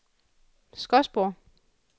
Skodsborg